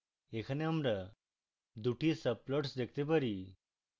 এখানে আমরা দুটি subplots দেখতে পারি